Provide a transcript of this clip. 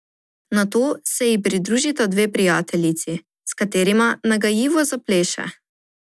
Nato se ji pridružita dve prijateljici, s katerima nagajivo zapleše.